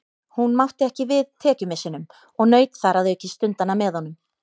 Hún mátti ekki við tekjumissinum og naut þar að auki stundanna með honum.